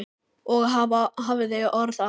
Og hafði orð á.